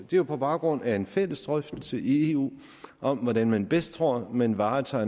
jo på baggrund af en fælles drøftelse i eu om hvordan man bedst tror man varetager